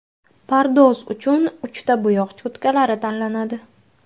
Pardoz uchun uchta bo‘yoq cho‘tkalari tanlanadi.